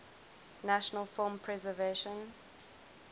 national film preservation